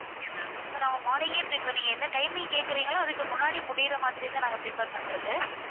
இப்போ நம்ம morning ஏ இப்போ நீங்க என்ன timing கேக்குறீங்களோ அதுக்கு முன்னாடி முடியுற மாதிரிதான் நாங்க prepare பண்றது.